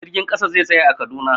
Jirgin ƙasa zai tsaya a Kaduna.